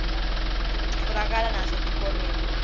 titfolakala nasetikolweni